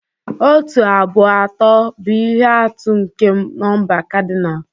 Otu, abụọ, atọ, bụ ihe atụ nke nọmba kadinal.